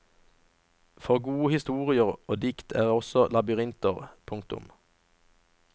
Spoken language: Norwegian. For gode historier og dikt er også labyrinter. punktum